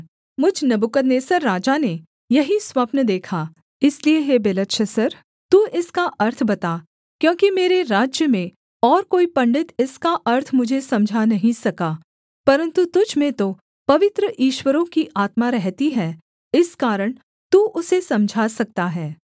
मुझ नबूकदनेस्सर राजा ने यही स्वप्न देखा इसलिए हे बेलतशस्सर तू इसका अर्थ बता क्योंकि मेरे राज्य में और कोई पंडित इसका अर्थ मुझे समझा नहीं सका परन्तु तुझ में तो पवित्र ईश्वरों की आत्मा रहती है इस कारण तू उसे समझा सकता है